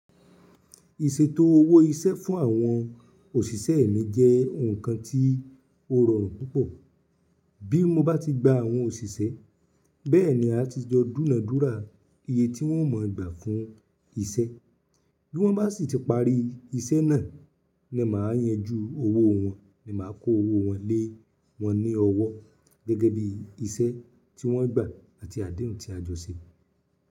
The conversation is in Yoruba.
Ìṣètò owó iṣẹ́ fún àwọn òṣìṣẹ́ mi jẹ́ ǹkan tí ó rọrùn púpọ̀. Bí mo bá ti gba àwọn òṣìṣẹ́ bẹ́ẹ̀ ni a ti jọ dúna dúra iye tí wọ́n ó mọ̀ gbà fún iṣẹ́. Bí wọ́n bá sì ti parí iṣẹ́ náà ni màá yanjú owó wọn ni màá kó owó wọn lé wọ́n ní ọwọ́ gẹ́gẹ́ bí iṣẹ́ tí wọ́n gbà àti adéhùn tí a jọ ṣe.